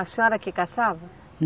A senhora que caçava?